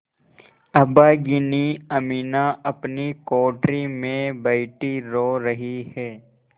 अभागिनी अमीना अपनी कोठरी में बैठी रो रही है